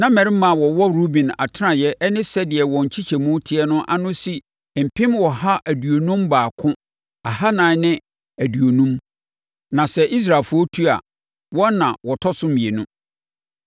Na mmarima a wɔwɔ Ruben atenaeɛ ne sɛdeɛ wɔn nkyekyɛmu teɛ no ano si mpem ɔha aduonum baako ahanan ne aduonum (151,450). Na sɛ Israelfoɔ tu a, wɔn na wɔtɔ so mmienu.